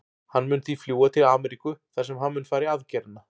Hann mun því fljúga til Ameríku þar sem hann mun fara í aðgerðina.